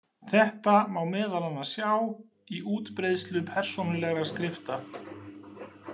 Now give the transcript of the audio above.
Þetta má meðal annars sjá í útbreiðslu persónulegra skrifta.